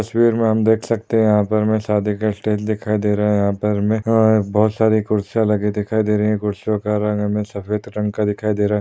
तस्वीर मे हम देख सकते है यहा पर शादी के स्टेज दिखाई दे रहे है यहा पर बहुत सारे कूर्सिया लगे हुए दिखाई दे रहे है कूर्सियो का रंग हमे सफ़ेद रंग का दिखाई दे रहे--